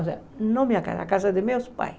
Não a minha casa, a casa dos meus pais.